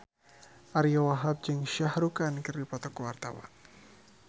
Ariyo Wahab jeung Shah Rukh Khan keur dipoto ku wartawan